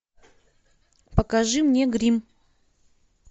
покажи мне гримм